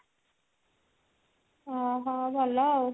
ଓ ହ ଭଲ ଆଉ